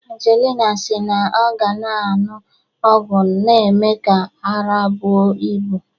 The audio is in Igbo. Angelina si na ọ ga na-aṅụ ọgwụ na-eme ka ara bụo ibu